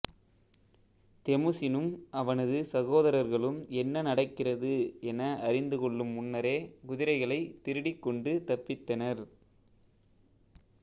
தெமுசினும் அவனது சகோதரர்களும் என்ன நடக்கிறது என அறிந்து கொள்ளும் முன்னரே குதிரைகளைத் திருடிக் கொண்டு தப்பித்தனர்